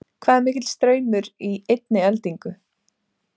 Hvað er mikill straumur í einni eldingu?